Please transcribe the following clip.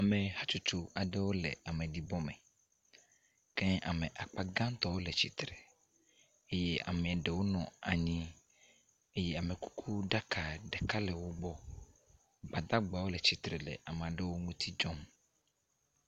Ame hatsotso aɖe le ameɖibɔme, ke ame akpa gãtɔ le tsitre eye ameaɖewo nɔ anyi eye amekukuɖaka ɖeka le wogbɔ. Gbadagbawo le tsitre le ameaɖewo ŋuti dzɔm.